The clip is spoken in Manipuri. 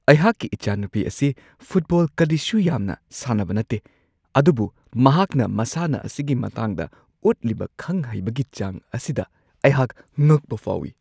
ꯑꯩꯍꯥꯛꯀꯤ ꯏꯆꯥꯅꯨꯄꯤ ꯑꯁꯤ ꯐꯨꯠꯕꯣꯜ ꯀꯔꯤꯁꯨ ꯌꯥꯝꯅ ꯁꯥꯟꯅꯕ ꯅꯠꯇꯦ ꯑꯗꯨꯕꯨ ꯃꯍꯥꯛꯅ ꯃꯁꯥꯟꯅ ꯑꯁꯤꯒꯤ ꯃꯇꯥꯡꯗ ꯎꯠꯂꯤꯕ ꯈꯪ-ꯍꯩꯕꯒꯤ ꯆꯥꯡ ꯑꯁꯤꯗ ꯑꯩꯍꯥꯛ ꯉꯛꯄ ꯐꯥꯎꯋꯤ ꯫